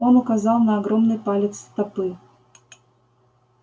он указал на огромный палец стопы